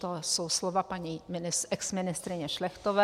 To jsou slova paní exministryně Šlechtové.